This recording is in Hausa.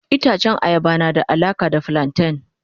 Itacen ayaba na da alaka da flanten.